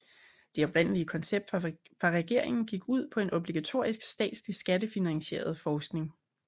Det oprindelige koncept fra regeringen gik ud på en obligatorisk statslig skattefinansieret forsikring